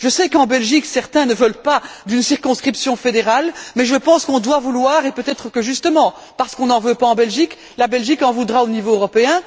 Je sais qu'en Belgique, certains ne veulent pas d'une circonscription fédérale, mais je pense qu'elle est nécessaire, et peut être que justement, parce qu'on n'en veut pas en Belgique, la Belgique en voudra au niveau européen.